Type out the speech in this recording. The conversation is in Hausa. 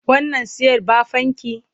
Wannan ce'yar baffanki?